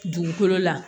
Dugukolo la